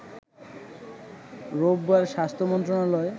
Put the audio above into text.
রোববার স্বাস্থ্য মন্ত্রণালয়